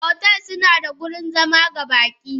Otel sunaba da wurin zama ga baki.